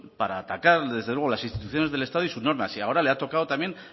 para atacar desde luego las instituciones del estado y sus normas y ahora le ha tocado también